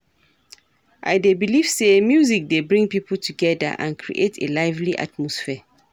I dey believe say music dey bring people together and create a lively atmosphere.